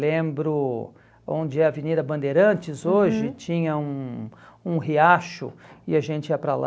Lembro onde é a Avenida Bandeirantes hoje, uhum, tinha um um riacho e a gente ia para lá,